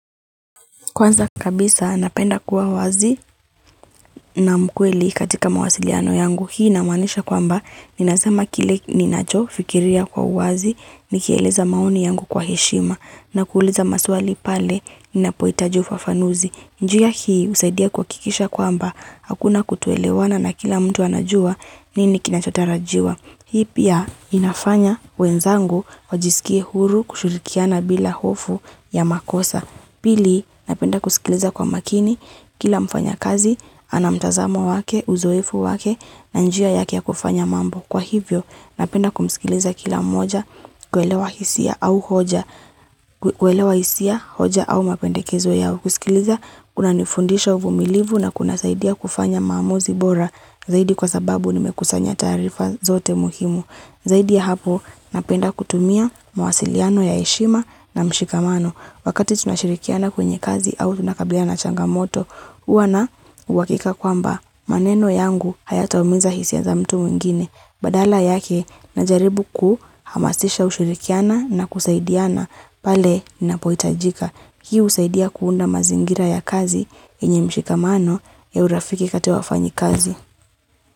Kwanza kabisa napenda kuwa wazi na mkweli katika mawasiliano yangu hii na maanisha kwamba ninazama kile ninachofikiria kwa wazi nikieleza mauni yangu kwa heshima na kuuliza maswali pale ninapoitajufa fanuzi. Njia hii usaidia kuhakikisha kwamba hakuna kutuelewana na kila mtu anajua nini kinachotarajiwa. Hii pia inafanya wenzangu eajisikie huru kushurikiana bila hofu ya makosa. Pili, napenda kusikiliza kwa makini, kila mfanyakazi, ana mtazamo wake, uzoifu wake, na njia ya kia kufanya mambo. Kwa hivyo, napenda kumsikiliza kila moja, kwelewa hisia, hoja, au mapendekezo yao. Kusikiliza, kunanifundisha uvumilivu na kunasaidia kufanya mambozi bora zaidi kwa sababu nimekusanya tarifa zote muhimu. Zaidi ya hapo, napenda kutumia masiliano ya eshima na mshikamano. Wakati tunashirikiana kwenye kazi au tunakabiliana na changamoto, uwa na uwakika kwamba maneno yangu haya taumiza hisia za mtu mwingine. Badala yake, najaribu kuhamasisha ushirikiana na kusaidiana, pale ninapoitajika. Hii husaidia kuunda mazingira ya kazi inye mshikamano ya urafiki kate wafanyi kazi.